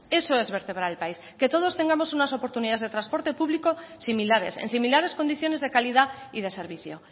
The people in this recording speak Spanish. eso es vertebrar el país que todos tengamos unas oportunidades de transporte público similares en similares condiciones de calidad y de servicio